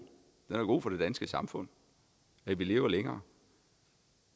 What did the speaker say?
den er god for det danske samfund vi lever længere